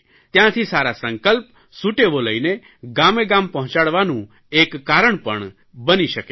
ત્યાંથી સારા સંકલ્પ સુટેવો લઇને ગામેગામ પહોંચાડવાનું એક કારણ પણ બની શકે છે